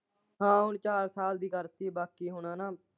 ਹਾਂ ਹੁਣ ਚਾਰ ਸਾਲ ਦੀ ਕਰਤੀ ਹੁਣ ਹਨਾਂ।